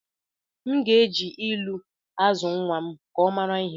M ga-eji ilu azụ nnwa m ka ọ mara ihe